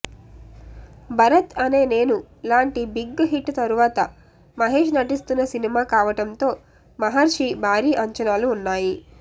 భరత్ అనే నేను లాంటి big hit తరువాత మహేష్ నటిస్తున్న సినిమా కావటంతో మహర్షి భారీ అంచనాలు ఉన్నాయి